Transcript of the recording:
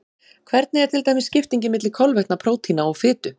Hvernig er til dæmis skiptingin milli kolvetna, prótína og fitu?